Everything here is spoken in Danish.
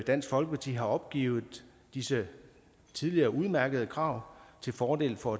dansk folkeparti har opgivet disse tidligere udmærkede krav til fordel for